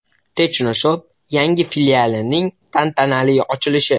Technoshop yangi filialining tantanali ochilishi!.